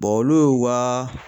olu y'u ka